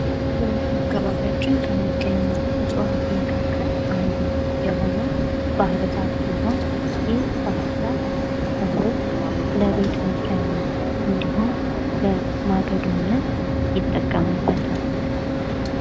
በአካባቢያችን ከሚገኙት እዋት መካከል አንዱ የሆነው ባህር ዛፍ ቢሆን ይህ ባህር ዛፍ ሰዎች ለቤት መስሪያነት እንዲሁም ለማገዶነት ይጠቀሙበታል።